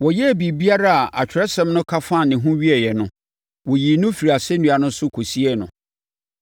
Wɔyɛɛ biribiara a Atwerɛsɛm no ka fa ne ho wieeɛ no, wɔyii no firii asɛnnua no so kɔsiee no.